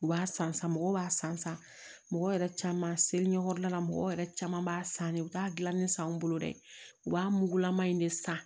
U b'a san san mɔgɔw b'a san san mɔgɔ yɛrɛ caman selekɔrida mɔgɔw yɛrɛ caman b'a san ne u t'a gilannin san anw bolo dɛ u b'a mugulama in de san